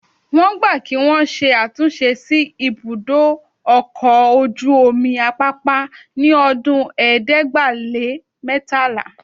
Wọ́n gbà kí wọn ṣe àtúnṣe sí ibùdó ọkọ̀ ojú omi Apápá ní ọdún ẹ̀ẹ́dẹ́gbàá-lé-mẹ́tàlá